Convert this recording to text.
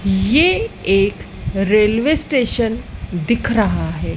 ये एक railway station दिख रहा है।